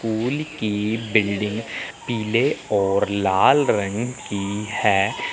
पुल की बिल्डिंग पीले और लाल रंग की है।